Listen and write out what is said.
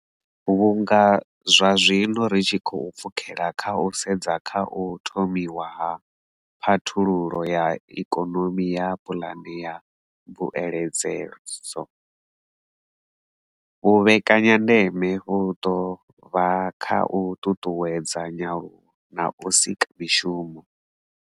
Vhunga zwa zwino ri tshi khou pfukela kha u sedza kha u thomiwa ha Phathululo ya Ikonomi na puane ya mbuedzedzo, vhu vhekanyandeme vhu ḓo vha kha u ṱuṱuwedza nyaluwo na u sika mishumo.